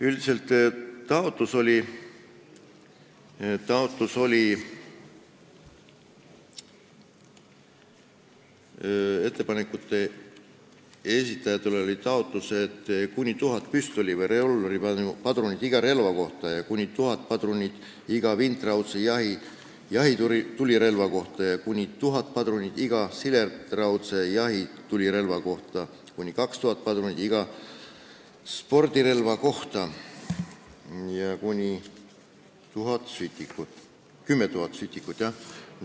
Üldiselt oli ettepaneku esitajatel taotlus, et lubatud võiks olla kuni 1000 püstoli- või revolvripadrunit iga relva kohta, kuni 1000 padrunit iga vintraudse jahitulirelva kohta, kuni 1000 padrunit iga sileraudse jahitulirelva kohta, kuni 2000 padrunit iga spordirelva kohta ja kuni 10 000 sütikut.